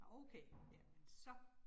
Okay. Ja, men så